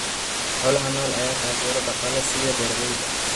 Xoolaha nool ayaa taageero dhaqaale siiya beeralayda.